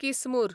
किसमूर